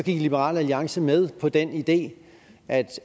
liberal alliance gik med på den idé at